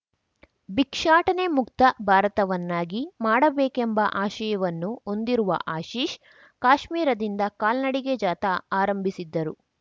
ಭಿಕ್ಷಾಟನೆ ಮುಕ್ತ ಭಾರತವನ್ನಾಗಿ ಮಾಡಬೇಕೆಂಬ ಆಶಯವನ್ನು ಹೊಂದಿರುವ ಆಶೀಶ್‌ ಕಾಶ್ಮೀರದಿಂದ ಕಾಲ್ನಡಿಗೆ ಜಾಥಾ ಆರಂಭಿಸಿದ್ದರು